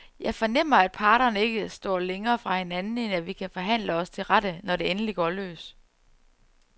Jeg fornemmer, at parterne ikke står længere fra hinanden, end at vi kan forhandle os til rette, når det endelig går løs.